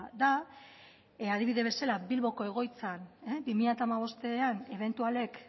da adibide bezala bilboko egoitzan bi mila hamabostean ebentualek